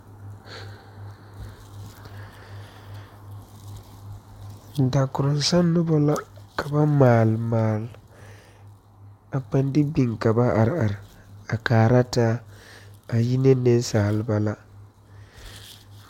Dakoroŋsaŋ nobɔ la ka ba maale maale a paŋ de biŋ ka ba are are a kaara taa a yi ne neŋsalba.